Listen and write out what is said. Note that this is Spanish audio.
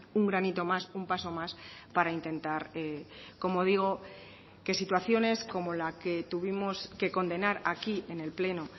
un granito más un paso más para intentar como digo que situaciones como la que tuvimos que condenar aquí en el pleno